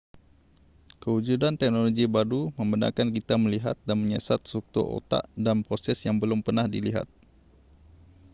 kewujudan teknologi baru membenarkan kita melihat dan menyiasat struktur otak dan proses yang belum pernah dilihat